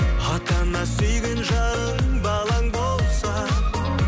ата ана сүйген жарың балаң болса